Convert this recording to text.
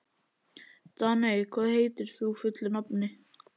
Daney, hvað heitir þú fullu nafni?